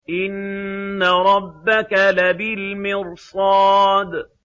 إِنَّ رَبَّكَ لَبِالْمِرْصَادِ